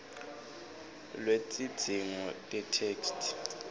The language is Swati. lwetidzingo tetheksthi